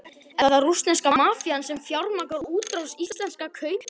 Er það rússneska mafían sem fjármagnar útrás íslenskra kaupahéðna?